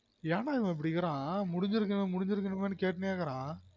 ஏன் டா இவன் இப்டி இக்குறான் முடிஞ்சுருக்கவன் முடிஞ்சிருக்குற மாதிரி கேட்டுனேருகிறான்